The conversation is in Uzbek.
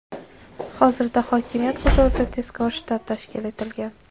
Hozirda hokimiyat huzurida tezkor shtab tashkil etilgan.